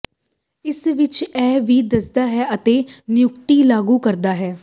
ਇਸ ਵਿਚ ਇਹ ਵੀ ਦੱਸਦੀ ਹੈ ਅਤੇ ਨਿਯੁਕਤੀ ਲਾਗੂ ਕਰਦਾ ਹੈ